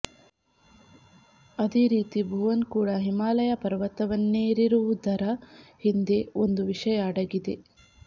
ಅದೇರೀತಿ ಭುವನ್ ಕೂಡ ಹಿಮಾಲಯ ಪರ್ತತವನ್ನೇರಿರುವುದರ ಹಿಂದೆ ಒಂದು ವಿಷಯ ಅಡಗಿದೆ